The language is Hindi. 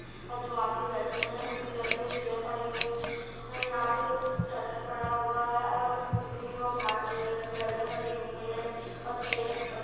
दो आदमी बैठी हुए है चेयर पे चेयर पड़ी हुई है यहा पे सेटर पड़ा हुआ है और ग्रीन और व्हाइट कलर मे बैलून लगे हुए है और चेयर भी पड़े हुए